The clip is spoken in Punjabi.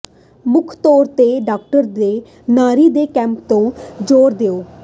ਮੁੱਖ ਤੌਰ ਤੇ ਡਰਾਫਟ ਦੇ ਨਾਰੀ ਦੇ ਕੈਂਪ ਤੇ ਜ਼ੋਰ ਦਿਓ